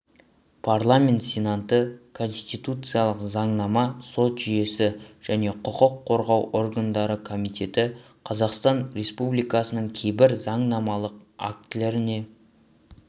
парламент сенаты конституциялық заңнама сот жүйесі және құқық қорғау органдары комитеті қазақстан республикасының кейбір заңнамалық актілеріне